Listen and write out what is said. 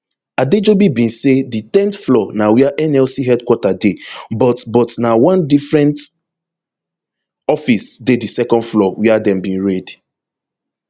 adejobi bin say di ten th floor na wia nlc hq dey but but na one different office dey di second floor wia dem bin raid